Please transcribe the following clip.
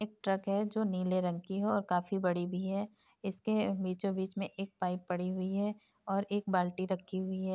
एक ट्रक है जो नीले रंग की है और काफी बड़ी भी है | इसके बीचों बीच में एक पाइप पड़ी हुई है और एक बाल्टी रखी हुई है।